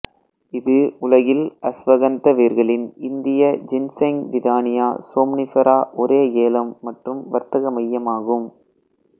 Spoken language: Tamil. இது உலகில் அஸ்வகந்த வேர்களின் இந்திய ஜின்ஸெங் விதானியா சோம்னிஃபெரா ஒரே ஏலம் மற்றும் வர்த்தக மையமாகும்